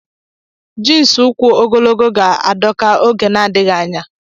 Jiins ụkwụ ogologo m ga-adọka oge n'adịghị anya.